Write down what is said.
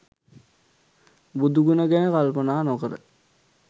බුදු ගුණ ගැන කල්පනා නොකර